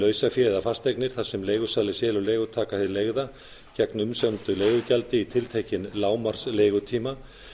lausafé eða fasteignir þar sem leigusali selur leigutaka hið leigða gegn umsömdu leigugjaldi í tiltekinn lágmarks leigutíma